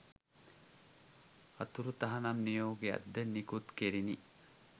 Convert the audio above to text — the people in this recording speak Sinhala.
අතුරු තහනම් නියෝගයක්ද නිකුත් කෙරිණි